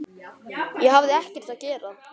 Ég hafði ekkert að gera.